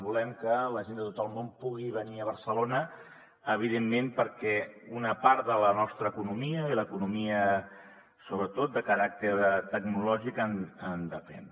volem que la gent de tot el món pugui venir a barcelona evidentment perquè una part de la nostra economia i l’eco·nomia sobretot de caràcter tecnològic en depèn